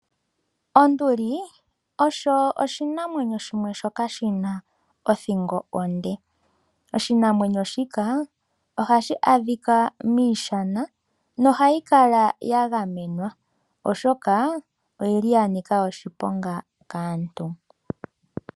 Onduli osho oshinamwenyo shimwe shoka shina othingo onde. Oshinamwenyo shika ohashi adhika miishana nohayi kala ya gamenwa, oshoka oyili ya nika oshiponga kaantu.